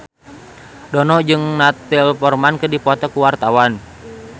Dono jeung Natalie Portman keur dipoto ku wartawan